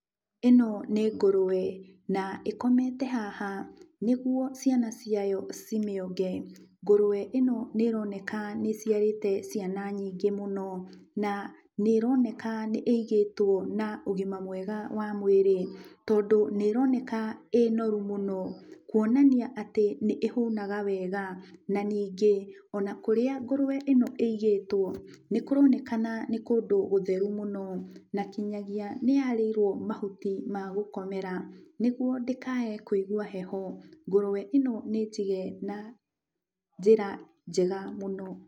Ĩno nĩ ngũrũwe na ĩkomete haha nĩgwo ciana ciayo cimĩonge. Ngũrũwe ĩno nĩ ĩroneka nĩ ĩciarĩte ciana nyingĩ mũno, na nĩ ĩroneka nĩ ĩigĩtwo na ũgima mwega wa mwĩrĩ, tondũ nĩ ĩroneka ĩ noru mũno kwonania atĩ nĩ ĩhũnaga wega. Na ningĩ ona kũrĩa ngũrũwe ĩno ĩigĩtwo, nĩkũronekana nĩ kũndũ gũtheru mũno, na kinyagia nĩyarĩirwo mahuti ma gũkomera nĩgwo ndĩkae kwĩgua heho. Ngũrũwe ĩno nĩnjige na njĩra njega mũno.